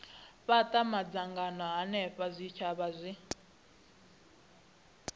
fhata madzangano henefho zwitshavha zwi